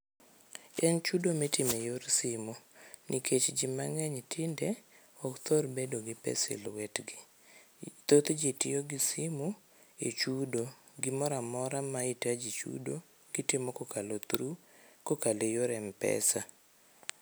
En chudo mitimo eyor simu nikech ji mang'eny tinde ok thor bedo gi pesa e lwetgi. Thothji tiyo gi simu echudo, gimoro amora ma hitaji chudo, gitimo kokalo through kokalo eyor m-pesa